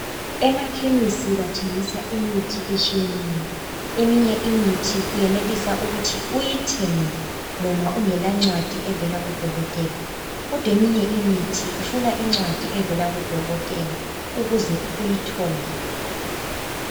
Emakhemisi bathengisa imithi etshiyeneyo, eminye imithi uyenelisa ukuthi uyithenge noma ungela ncwadi evela kudokotela kodwa eminye imithi ifuna incwadi evela kudokotela ukuze uyithole.